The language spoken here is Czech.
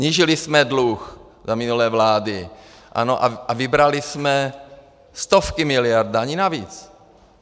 Snížili jsme dluh za minulé vlády a vybrali jsme stovky miliard daní navíc.